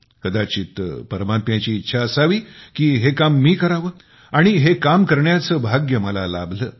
कदाचित परमात्म्याची इच्छा असावी की हे काम मी करावे आणि हे काम करण्याचे भाग्य मला लाभले